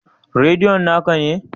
Radion na ka ne?